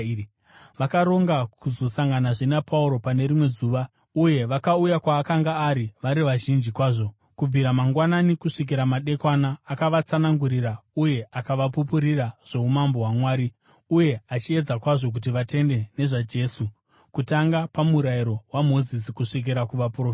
Vakaronga kuzosanganazve naPauro pane rimwe zuva, uye vakauya kwaakanga ari vari vazhinji kwazvo. Kubvira mangwanani kusvikira madekwana akavatsanangurira uye akavapupurira zvoumambo hwaMwari, uye achiedza kwazvo kuti vatende nezvaJesu kutanga paMurayiro waMozisi kusvikira kuvaprofita.